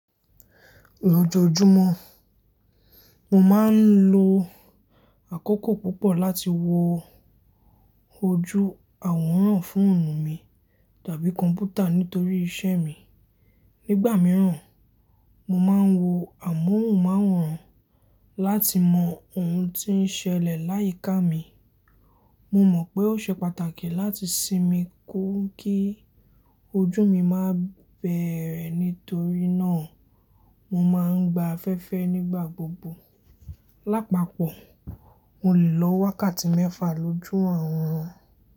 Lójojúmọ́, mo máa ń lo àkókò púpọ̀ láti wo ojú àwòrán fòònu mi tàbí kọ̀m̀pútà nítorí iṣẹ́ mi. Nígbà mìíràn, mo máa ń wo amóhùnmáwòrán láti mọ ohun tí ń ṣẹlẹ̀ láyìíká mi. Mo mọ̀ pé ó ṣe pàtàkì láti sinmi kú kí ojú mi má bẹ̀rẹ̀ nítorí náà mo máa ń gba afẹ́fẹ́ nígbà gbogbo. Lápapọ̀, mo lè lo wákàtí mẹ́fà lójú àwòrán.